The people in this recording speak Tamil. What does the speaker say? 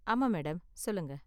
ஆமா மேடம், சொல்லுங்க.